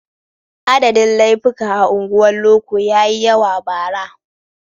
Adadin laifuka a unguwar loko ya yi yawa bara.